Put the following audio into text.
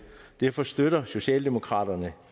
derfor støtter socialdemokraterne